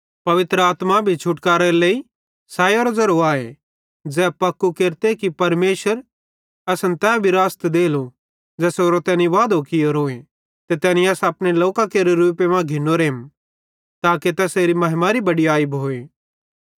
पवित्र आत्मा भी छुटकारेरे सैयरो ज़ेरो आए ज़ै पक्कू केरते कि परमेशरे असन तै विरासत देलो ज़ेसेरो तैनी वादो कियोरोए ते तैनी अस अपने लोकां केरे रूपे मां घिनोरेम ताके तैसेरे महिमारी बडयाई भोए